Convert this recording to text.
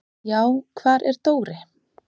"""Já, hvar var Dóri?"""